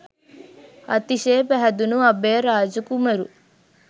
අතිශය පැහැදුණු අභයරාජ කුමරු